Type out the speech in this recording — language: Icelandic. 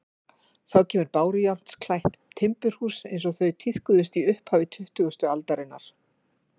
Þá kemur bárujárnsklætt timburhús eins og þau tíðkuðust í upphafi tuttugustu aldarinnar.